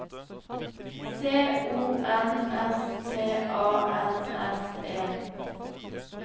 C O N S T A N S E